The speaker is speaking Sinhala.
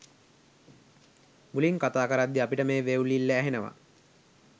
මුලින් කතා කරද්දි අපිට මේ වෙව්ලිල්ල ඇහෙනවා